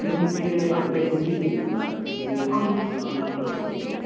ಇದು ನಿಮ್ಗೆ ಅಂಗಡಿಯಲ್ಲಿ ಸಿಗುದಿಲ್ಲಾ ಮಾತ್ರ ಇದು ನಿಮ್ಗೆ online ಮಾತ್ರ ಸಿಗುದು.